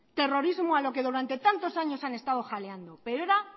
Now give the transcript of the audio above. terrorismo a lo que durante tantos años han estado jaleando pero era